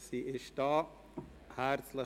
Sie ist bereits hier.